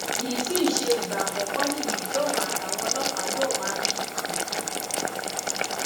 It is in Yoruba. kì í sì í ṣe ìgbà àkọkọ nìyí tóun àtàwọn ọlọpàá yóò máa ní fánfà